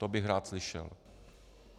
To bych rád slyšel.